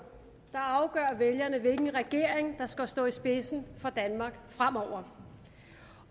afgør vælgerne hvilken regering der skal stå i spidsen for danmark fremover